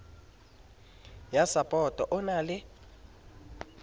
ya sapoto o na le